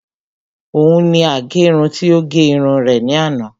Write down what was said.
Òun ni agẹrun tí ó gẹ irun rẹ̀ ní àná